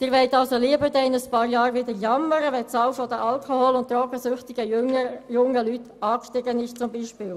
Sie wollen also lieber in ein paar Jahren wieder jammern, wenn beispielsweise die Zahl der alkohol- und drogensüchtigen jungen Leute wieder angestiegen ist.